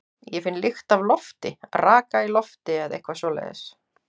Ég finn lykt af lofti, raka í lofti eða eitthvað svoleiðis.